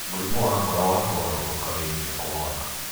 mũrĩmũ wa ngoro wa kũgarũrũka wĩ hinya kũwona.